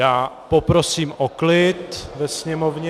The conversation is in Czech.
Já poprosím o klid ve sněmovně.